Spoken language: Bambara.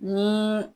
Ni